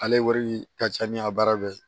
Ale wari ka ca ni a baara bɛɛ ye